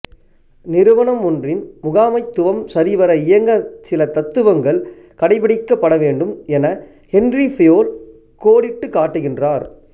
நிறுவனம்மொன்றின் முகாமைத்துவம் சரிவர இயங்க சில தத்துவங்கள் கடைப்பிடிக்கப்படவேண்டும் என ஹென்றி ஃபயோல் கோடிட்டுக்காட்டுகின்றார்